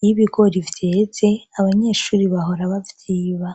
iyo ibigori vyeze abanyeshure bahora bavyiba.